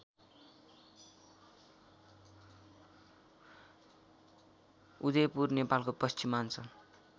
उदिपुर नेपालको पश्चिमाञ्चल